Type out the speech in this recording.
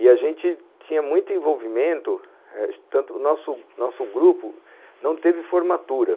E a gente tinha muito envolvimento eh, tanto o nosso nosso grupo não teve formatura.